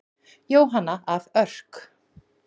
Jóhanna af Örk.